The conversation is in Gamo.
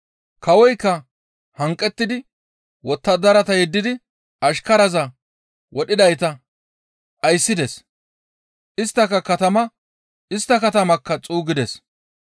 «Kawoykka hanqettidi wottadarata yeddidi ashkaraza wodhidayta dhayssides; istta katamaa xuuggides.